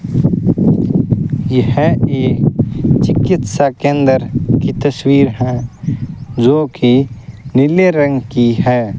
यह एक चिकित्सा केंद्र की तस्वीर हैं जो की नीले रंग की हैं।